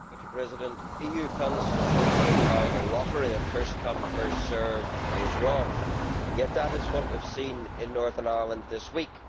Mr President, EU funds distributed by the lottery of first come, first served' is wrong. Yet that is what we have seen in Northern Ireland this week.